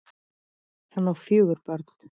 Hann á fjögur börn.